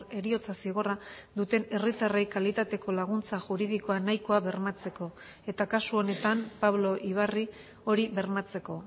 heriotza zigorra duten herritarrei kalitateko laguntza juridikoa nahikoa bermatzeko eta kasu honetan pablo ibarri hori bermatzeko